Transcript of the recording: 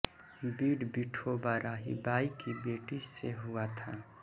बीड विठोबा राहिबाई की बेटी से हुआ था